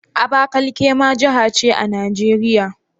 Abakaliki ma jiha ce a Najeriya?